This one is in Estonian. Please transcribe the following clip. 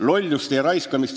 Kolm minutit juurde.